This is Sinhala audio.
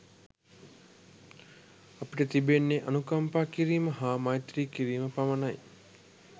අපිට තිබෙන්නේ අනුකම්පා කිරීම හා මෛත්‍රී කිරීම පමණයි.